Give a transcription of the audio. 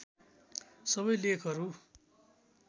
सबै लेखहरू